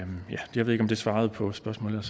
jeg ved ikke om det svarede på spørgsmålet